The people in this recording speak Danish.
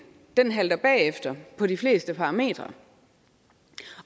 halter bagefter på de fleste parametre